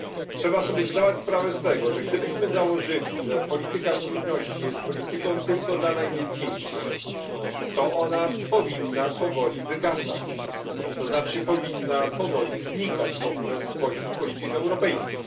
Trzeba sobie zdawać sprawę z tego, że gdybyśmy założyli, że polityka spójności jest polityką tylko dla najbiedniejszych, to ona powinna powoli wygasać, to znaczy powinna powoli znikać w ogóle spośród polityk europejskich.